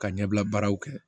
Ka ɲɛbila baaraw kɛ